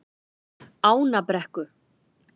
Ánabrekku